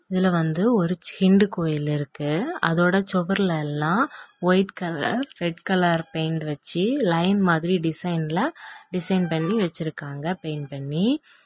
இதுல வந்து ஒரு சிண்டு கோயில் இருக்கு அதோட சுவர்ல எல்லாம் white colour red colour paint வச்சி லைன் மாதிரி டிசைன்ல டிசைன் பண்ணி வச்சிருக்காங்க பெயிண்ட் பண்ணி.